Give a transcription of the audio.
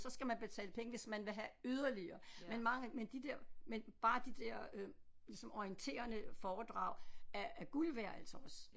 Så skal man betale penge hvis man vil have yderligere men mange men de der men bare de der øh ligesom orienterende foredrag er er guld værd altså også